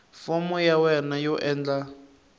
fomo ya wena yo endla